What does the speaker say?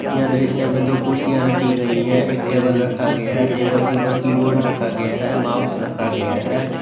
यह दृश्य में दो कुर्सियां रखी गई है एक टेबल रखा गया है टेबल के ऊपर कीबोर्ड रखा गया है माउस रखा गया है।